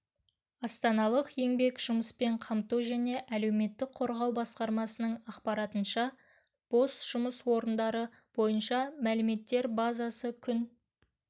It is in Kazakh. астаналық еңбек жұмыспен қамту және әлеуметтік қорғау басқармасының ақпаратынша бос жұмыс орындары бойынша мәліметтер базасы күн